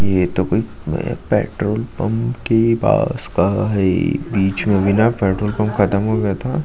ये तो कोई पेट्रोल पंप की पास का बीच में अभी न पेट्रोल पंप ख़तम हो गया था।